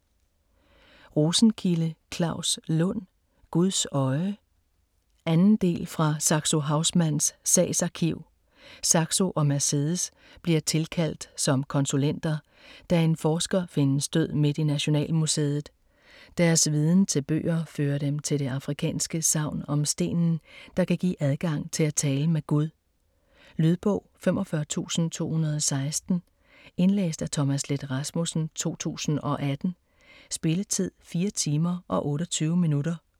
Rosenkilde, Claus Lund: Guds øje 2. del af Fra Saxo Haussmanns sagsarkiv. Saxo og Mercedes bliver tilkaldt som konsulenter, da en forsker findes død midt i Nationalmuseet. Deres viden til bøger fører dem til det afrikanske sagn om stenen, der kan give adgang til at tale med Gud. Lydbog 45216 Indlæst af Thomas Leth Rasmussen, 2018. Spilletid: 4 timer, 28 minutter.